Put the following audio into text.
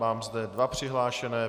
Mám zde dva přihlášené.